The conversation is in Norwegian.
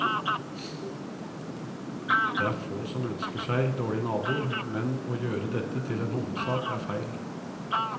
Det er få som ønsker seg dårlige naboer, men å gjøre dette til en hovedsak er feil.